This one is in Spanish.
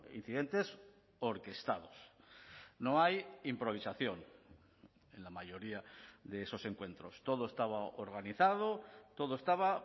incidentes orquestados no hay improvisación en la mayoría de esos encuentros todo estaba organizado todo estaba